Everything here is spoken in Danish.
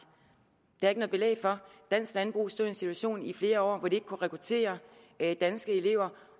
det er der belæg for dansk landbrug stod i en situation i flere år hvor de ikke kunne rekruttere danske elever